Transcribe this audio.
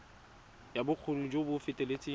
ya bokgoni jo bo feteletseng